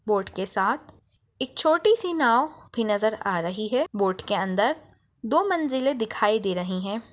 Boat के साथ एक छोटी सी नाव भी नजर आ रही है बोट के अंदर दो मंजिले दिखाई दे रही है।